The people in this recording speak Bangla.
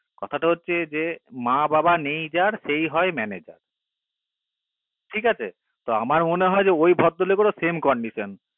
কথাটা হচ্ছে যে মা বাবা নেই যার সেই হয় manager ঠিক আসে তো আমার মনে হয় ওই ভদ্র লোকের ও একই condition